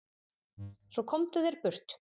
Svo komdu þér burt.